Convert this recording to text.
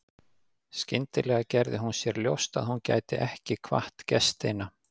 Skyndilega gerði hún sér ljóst að hún gæti ekki kvatt gestina.